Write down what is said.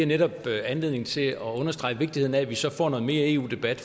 netop giver anledning til at understrege vigtigheden af at vi så får noget mere eu debat